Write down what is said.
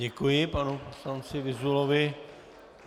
Děkuji panu poslanci Vyzulovi.